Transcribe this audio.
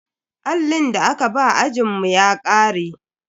Allin da aka ba ajinmu ya ƙare.